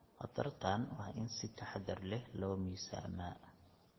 Khatartaan waa in si taxadar leh loo miisaamaa.